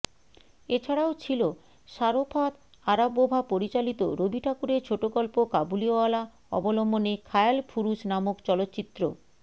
এছাড়াও ছিল Sharofat Arabova পরিচালিত রবিঠাকুরের ছোটগল্প কাবুলিওয়ালা অবলম্বনে খায়ালফুরুষ নামক চলচ্চিত্র